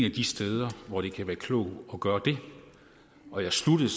af de steder hvor det kan være klogt at gøre det og jeg sluttede